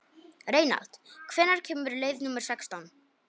Reynald, hvenær kemur leið númer sextán?